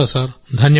ధన్యవాదాలు